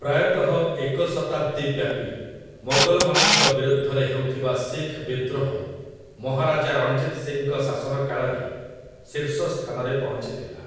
ପ୍ରାୟତଃ ଏକ ଶତାବ୍ଦୀ ବ୍ୟାପୀ ମୋଗଲମାନଙ୍କ ବିରୁଦ୍ଧରେ ହେଉଥିବା ଶିଖ୍ ବିଦ୍ରୋହ ମହାରାଜା ରଣଜିତ୍ ସିଂଙ୍କ ଶାସନକାଳରେ ଶୀର୍ଷସ୍ଥାନରେ ପହଞ୍ଚିଥିଲା ।